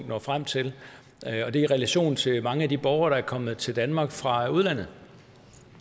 når frem til og det er i relation til de mange borgere der er kommet til danmark fra udlandet